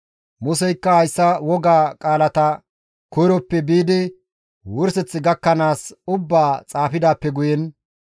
Museykka hayssa wogaa qaalata koyroppe biidi wurseth gakkanaas ubbaa xaafidaappe guyen;